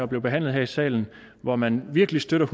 blev behandlet her i salen hvor man virkelig støttede